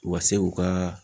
U ka se k'u ka